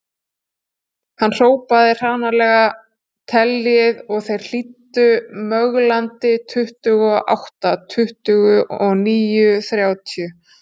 Hann hrópaði hranalega: Teljið og þeir hlýddu möglandi,.tuttugu og átta, tuttugu og níu, þrjátíu